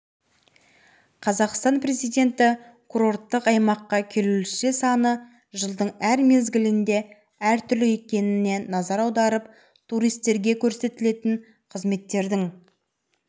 осыған байланысты ағымдағы жылы маусымнан шілдеге дейін жоғарыда көрсетілген учаскелерде жол қозғалысына шектеу қойылады көліктердің жүруіне